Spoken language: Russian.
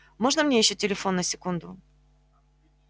можно мне ещё телефон на секунду